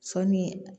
Sɔɔni